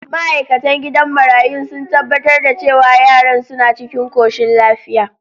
Ma’aikatan gidan marayun sun tabbatar da cewa yaran suna cikin koshin lafiya.